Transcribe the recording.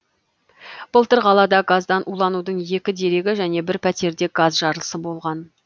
былтыр қалада газдан уланудың екі дерегі және бір пәтерде газ жарылысы болған